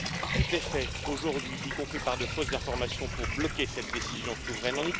tout est fait aujourd'hui, y compris par de fausses informations, pour bloquer cette décision souveraine.